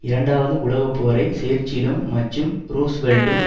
இரண்டாவது உலகப்போரை சேர்ச்சிலும் மற்றும் ரூஸ்வெல்ட்டும்